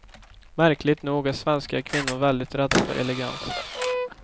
Märkligt nog är svenska kvinnor väldigt rädda för elegans.